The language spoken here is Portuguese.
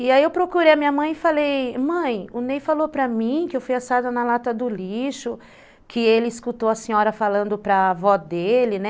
E aí eu procurei a minha mãe e falei, mãe, o Ney falou para mim que eu fui achada na lata do lixo, que ele escutou a senhora falando para a avó dele, né.